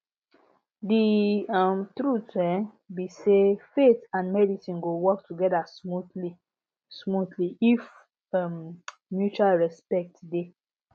the um truth um be sayfaith and medicine go work together smoothly smoothly if um mutual respect dey